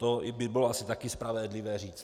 To by bylo asi taky spravedlivé říct.